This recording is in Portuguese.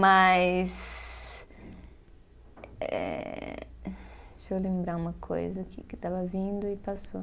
Mas Ehh, deixa eu lembrar uma coisa aqui que estava vindo e passou.